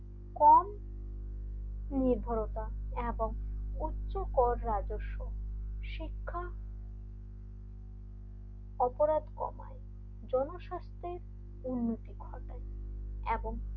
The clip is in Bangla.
কম নির্ভরতা এবং উচ্চ কর রাজস্ব শিক্ষা অপরাধ কমায় জনস্বার্থে উন্নতি ঘটা এবং,